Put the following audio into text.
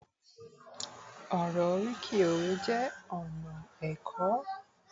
oro oriki òwe jé ona ẹkọ